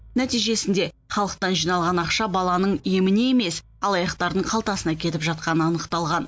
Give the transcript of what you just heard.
нәтижесінде халықтан жиналған ақша баланың еміне емес алаяқтардың қалтасына кетіп жатқаны анықталған